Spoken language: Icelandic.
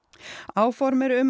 áform eru um